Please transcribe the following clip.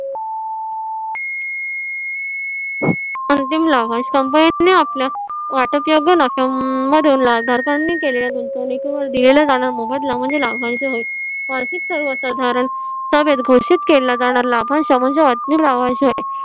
अंतिम लाभांश company ने आपल्या वाटपीय भागदरकांना गुंतवनिकेवर दिलेला जाणारा मोबदला म्हणजे लाभांश होय वार्षिक सभेत घोषित केला जाणारा लाभांश म्हणजे अंतिम लाभांश होय